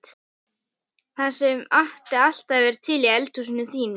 Árdís, kanntu að spila lagið „Þegar tíminn er liðinn“?